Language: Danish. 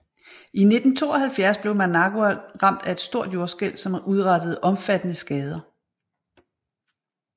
I 1972 blev Managua ramt af et stort jordskælv som udrettede omfattende skader